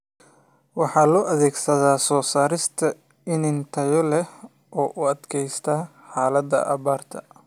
Waxa loo adeegsadaa soo saarista iniin tayo leh oo u adkaysta xaaladaha abaarta.